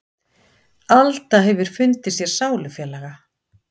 Alda hefur fundið sér sálufélaga.